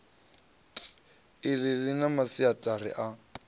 iḽi ḽi na masiaṱari a